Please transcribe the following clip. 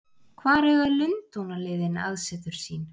Hvar eiga Lundúnaliðin aðsetur sín?